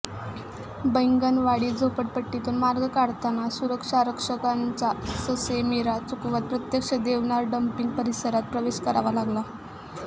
बैंगनवाडी झोपडपट्टीतून मार्ग काढत सुरक्षारक्षकांचा ससेमिरा चुकवत प्रत्यक्ष देवनार डम्पिंग परिसरात प्रवेश करावा लागला